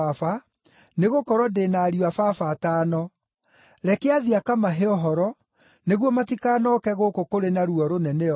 nĩgũkorwo ndĩ na ariũ a baba atano. Reke athiĩ akamahe ũhoro, nĩguo matikanooke gũkũ kũrĩ na ruo rũnene ũũ.’